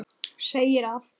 segir að